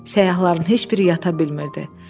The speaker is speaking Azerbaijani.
Səyyahların heç biri yata bilmirdi.